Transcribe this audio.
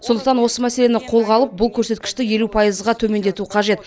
сондықтан осы мәселені қолға алып бұл көрсеткішті елу пайызға төмендету қажет